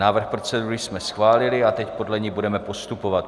Návrh procedury jsme schválili a teď podle ní budeme postupovat.